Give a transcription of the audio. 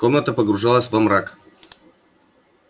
комната погружалась во мрак